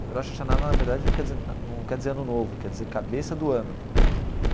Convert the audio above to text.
Rosh Hashanah, na verdade, não quer dizer na não quer dizer ano novo, quer dizer cabeça do ano.